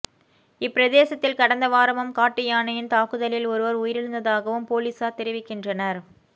இப்பிரதேசத்தில் கடந்த வாரமும் காட்டு யானையின் தாக்குதலில் ஒருவர் உயிரிழந்ததாகவும் பொலிஸார் தெரிவிக்கின்றனர்